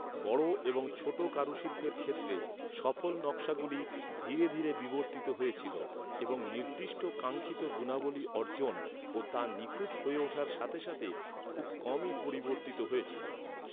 বড় এবং ছোট কারুশিল্পের ক্ষেত্রে সফল নকশাগুলি ধীরে ধীরে বিবর্তিত হয়েছিল এবং নির্দিষ্ট কাঙ্ক্ষিত গুণাবলী অর্জন ও তা নিখুঁত হয়ে ওঠার সাথে সাথে খুব কমই পরিবর্তিত হয়েছিল।